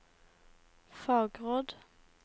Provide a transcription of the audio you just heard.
fagråd